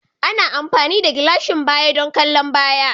Ana amfani da gilashin baya don kallon baya